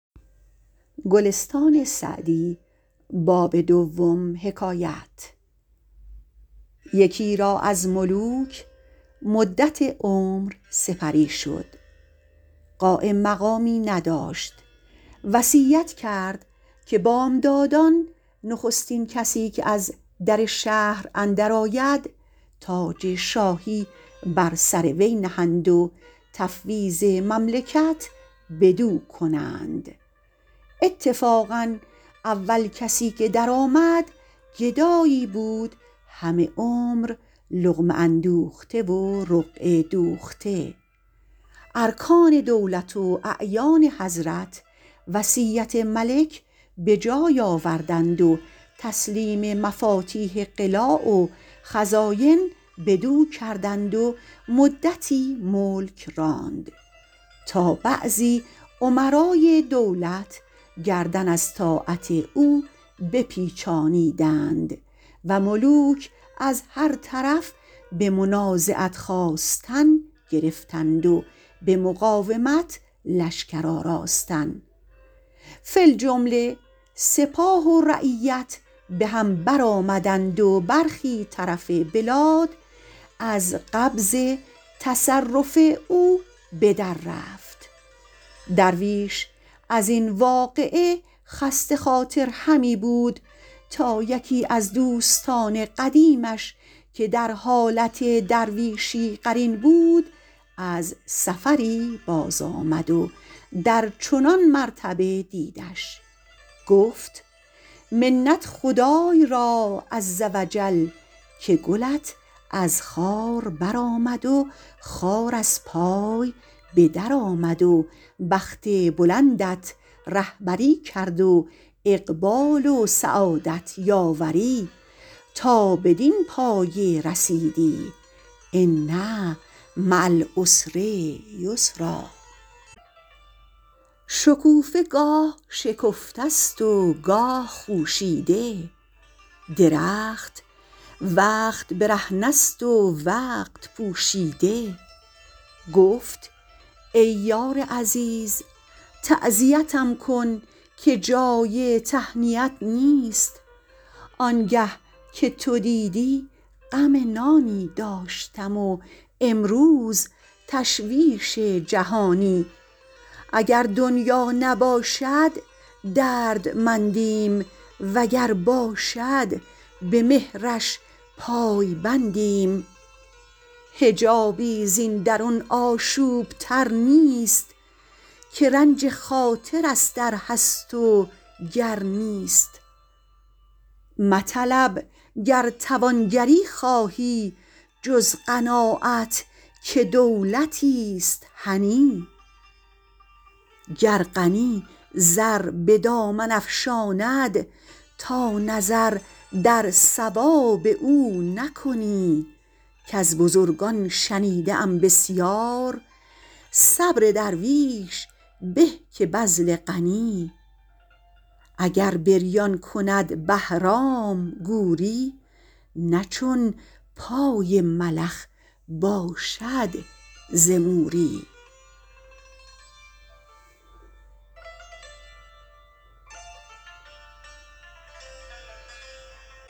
یکی را از ملوک مدت عمر سپری شد قایم مقامی نداشت وصیت کرد که بامدادان نخستین کسی که از در شهر اندر آید تاج شاهی بر سر وی نهند و تفویض مملکت بدو کنند اتفاقا اول کسی که در آمد گدایی بود همه عمر لقمه اندوخته و رقعه دوخته ارکان دولت و اعیان حضرت وصیت ملک به جای آوردند و تسلیم مفاتیح قلاع و خزاین بدو کردند و مدتی ملک راند تا بعضی امرای دولت گردن از طاعت او بپیچانیدند و ملوک از هر طرف به منازعت خاستن گرفتند و به مقاومت لشکر آراستن فی الجمله سپاه و رعیت به هم بر آمدند و برخی طرف بلاد از قبض تصرف او به در رفت درویش از این واقعه خسته خاطر همی بود تا یکی از دوستان قدیمش که در حالت درویشی قرین بود از سفری باز آمد و در چنان مرتبه دیدش گفت منت خدای را عز و جل که گلت از خار بر آمد و خار از پای به در آمد و بخت بلندت رهبری کرد و اقبال و سعادت یاوری تا بدین پایه رسیدی ان مع العسر یسرا شکوفه گاه شکفته است و گاه خوشیده درخت وقت برهنه است و وقت پوشیده گفت ای یار عزیز تعزیتم کن که جای تهنیت نیست آنگه که تو دیدی غم نانی داشتم و امروز تشویش جهانی اگر دنیا نباشد دردمندیم وگر باشد به مهرش پای بندیم حجابی زین درون آشوب تر نیست که رنج خاطر است ار هست و گر نیست مطلب گر توانگری خواهی جز قناعت که دولتیست هنی گر غنی زر به دامن افشاند تا نظر در ثواب او نکنی کز بزرگان شنیده ام بسیار صبر درویش به که بذل غنی اگر بریان کند بهرام گوری نه چون پای ملخ باشد ز موری